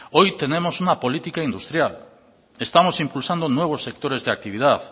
hoy tenemos una política industrial estamos impulsando nuevos sectores de actividad